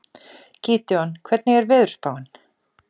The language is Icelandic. Gídeon, hvernig er veðurspáin?